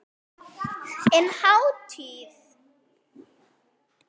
En hárið?